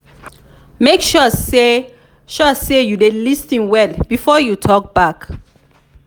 make sure say sure say you dey lis ten well before you talk back.